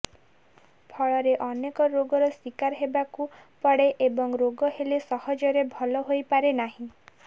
ଫଳରେ ଅନେକ ରୋଗର ଶିକାର ହେବାକୁ ପଡେ ଏବଂ ରୋଗ ହେଲେ ସହଜରେ ଭଲ ହୋଇପାରେ ନାହିଁ